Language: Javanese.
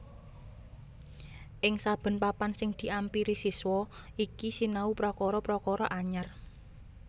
Ing saben papan sing diampiri siswa iki sinau prakara prakara anyar